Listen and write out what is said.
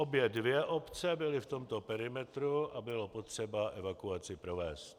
Obě dvě obce byly v tomto perimetru a bylo potřeba evakuaci provést.